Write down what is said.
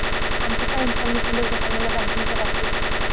आणखी काय इन्फॉर्मेशन देऊ शकाल बँकिंग च्या बाबतीत.